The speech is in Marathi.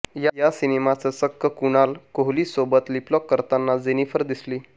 या सिनेमाच चक्क कुणाल कोहलीसोबत लिपलॉक करताना जेनिफिर दिसली